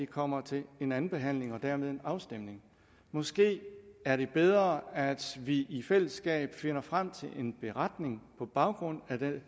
kommer til en andenbehandling og dermed en afstemning måske er det bedre at vi i fællesskab finder frem til en beretning på baggrund af det